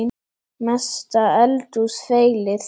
Mesta eldhús feilið?